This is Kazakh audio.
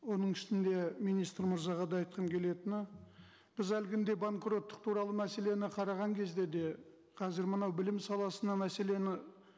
оның үстінде министр мырзаға да айтқым келетіні біз әлгінде банкроттық туралы мәселені қараған кезде де қазір мына білім саласына мәселені